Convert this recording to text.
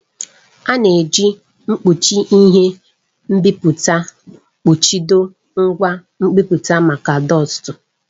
A na-eji mkpuchi ihe nbipute kpuchido ngwa nbipute maka dọstu.